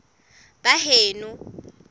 baheno